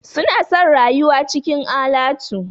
Suna son rayuwa cikin alatu.